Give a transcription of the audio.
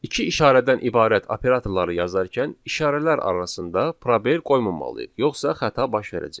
İki işarədən ibarət operatorları yazarkən işarələr arasında probel qoymamalıyıq, yoxsa xəta baş verəcək.